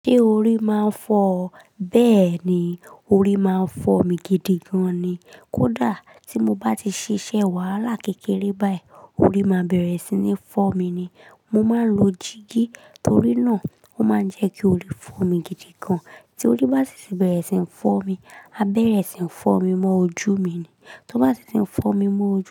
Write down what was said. Ṣé orí máa ń fọ ọ? Bẹ́ẹ̀ni, orí máa ń fọ̀ mí gidi gan ni. Kódà tí mo bá ti ṣíṣe wàhálà kékeré báyìí, orí máa bẹ̀rẹ̀ sí ní fọ́ mi ni. Mo máa ń lo jígí torí náà ó máa ń jẹ́ kí orí fọ́ mi gidi gan. Tí orí bá sì ti bẹ̀rẹ̀ sí ń fọ́ mi, a bẹ̀rẹ̀ sí ń fọ́ mi mọ́ ojú mi ni. Tó bá sì ti ń fọ́ mi mọ́ ojú.